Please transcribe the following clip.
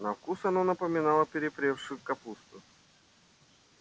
на вкус оно напоминало перепревшую капусту